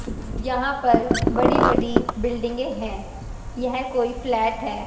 यहां पर बड़ी बड़ी बिल्डिंगें हैं यह कोई फ्लैट है।